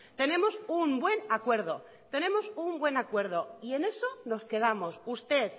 tenemos un buen acuerdo tenemos un buen acuerdo y en eso nos quedamos usted